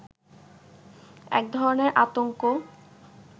এক ধরনের আতংক